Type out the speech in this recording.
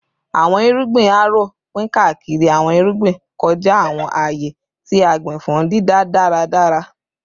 Awọn irugbin Harrow pin kaakiri awọn irugbin kọja awọn aaye ti a gbin fun dida daradara